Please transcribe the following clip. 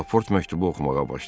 Laport məktubu oxumağa başladı.